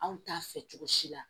Anw t'a fɛ cogo si la